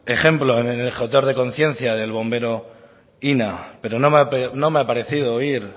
ejemplo en el objeto de conciencia del bombero pero me ha parecido oír